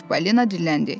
Çippolino dilləndi.